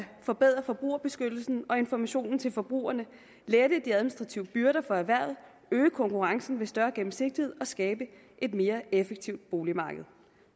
forbedre forbrugerbeskyttelsen og informationen til forbrugerne lette de administrative byrder for erhvervet øge konkurrencen ved større gennemsigtighed og skabe et mere effektivt boligmarked